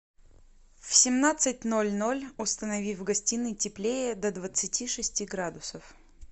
в семнадцать ноль ноль установи в гостиной теплее до двадцати шести градусов